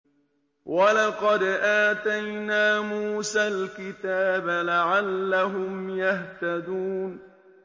وَلَقَدْ آتَيْنَا مُوسَى الْكِتَابَ لَعَلَّهُمْ يَهْتَدُونَ